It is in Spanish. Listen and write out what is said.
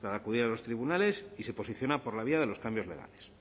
para acudir a los tribunales y se posiciona por la vía de los cambios legales